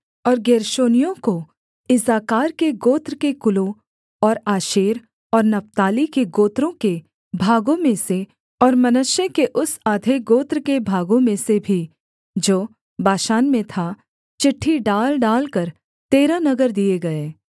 और गेर्शोनियों को इस्साकार के गोत्र के कुलों और आशेर और नप्ताली के गोत्रों के भागों में से और मनश्शे के उस आधे गोत्र के भागों में से भी जो बाशान में था चिट्ठी डाल डालकर तेरह नगर दिए गए